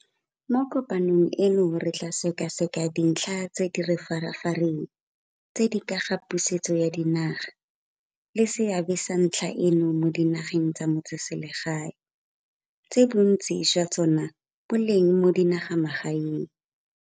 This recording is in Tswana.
Mo kopanong eno re tla sekaseka dintlha tse di re farafareng tse di ka ga pusetso ya dinaga le seabe sa ntlha eno mo dinageng tsa metseselsegae, tse bontsi jwa tsona bo leng mo dinagamagaeng.